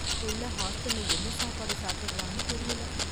புள்ள ஹாஸ்டல்ல என்ன சாப்பாடு சாப்பிடரான்னு தெரியல